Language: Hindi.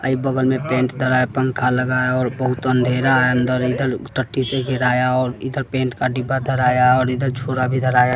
आई बगल में पेंट धरा है पंखा लगा है और बहुत अंधेरा है अंदर एकदम टट्टी से गिराया और इधर पेंट का डब्बा धराया और इधर छुरा भी धराया।